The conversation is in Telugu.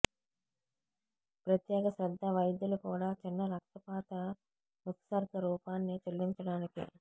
ప్రత్యేక శ్రద్ధ వైద్యులు కూడా చిన్న రక్తపాత ఉత్సర్గ రూపాన్ని చెల్లించడానికి